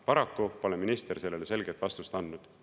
Paraku pole minister sellele selget vastust andnud.